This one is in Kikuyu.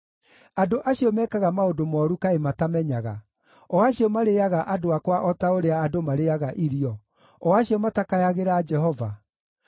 Andũ acio mekaga maũndũ mooru kaĩ matamenyaga, o acio marĩĩaga andũ akwa o ta ũrĩa andũ marĩĩaga irio, o acio matakayagĩra Jehova?